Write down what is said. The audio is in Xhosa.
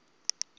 kwelo xesha ke